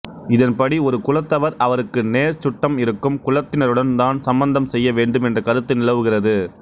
இதன்படி ஒரு குலத்தவர் அவருக்கு நேர் சுட்டம் இருக்கும் குலத்தினருடன்தான் சம்பந்தம் செய்ய வேண்டும் என்ற கருத்து நிலவுகிறது